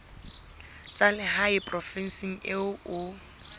tsa lehae provinseng eo o